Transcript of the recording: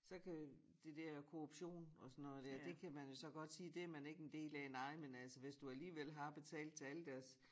Så kan det dér korruption og sådan noget dér det kan man jo så godt sige det man ikke en del af nej men altså hvis du alligevel har betalt til alle deres